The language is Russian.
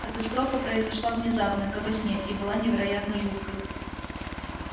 катастрофа произошла внезапно как во сне и была невероятно жуткой